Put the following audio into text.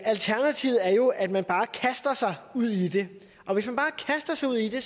alternativet er jo at man bare kaster sig ud i det og hvis man bare kaster sig ud i det